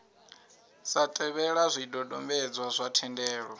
sa tevhela zwidodombedzwa zwa thendelo